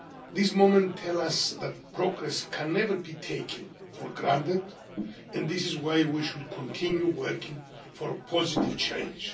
This moment tells us that progress can never be taken for granted, and this is why we should continue working for positive change.